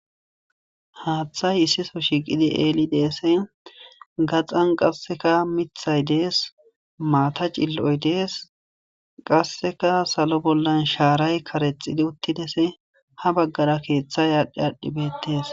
haaththay issiso shiiqidi eeli deese gaxan qasseka mithay dees maata cill7oy dees qasseka salo bollan shaaray karexidi uttidese ha baggara keeththa yaadhdhi aadhdhibetes